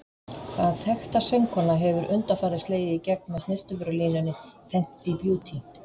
Hvaða þekkta söngkona hefur undanfarið slegið í gegn með snyrtivörulínunni Fenty Beauty?